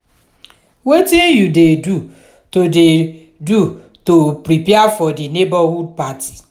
wetin you dey do to dey do to prepare for di neighborhood party?